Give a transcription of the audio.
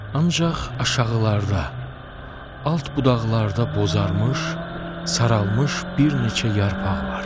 Ancaq aşağılarda, alt budaqlarda bozarmış, saralmış bir neçə yarpaq var.